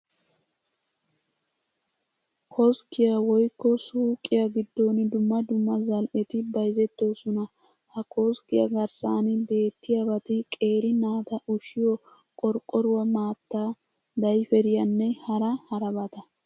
Koskkiya woykko suuqiya giddon dumma dumma zal"eti bayzettoosona. Ha koskkiya garssan beettiyabati qeeri naata ushshiyo qorqqoruwa maattaa, dayferiyanne hara harabata.